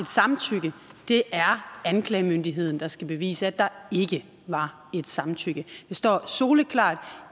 samtykke det er anklagemyndigheden der skal bevise at der ikke var et samtykke det står soleklart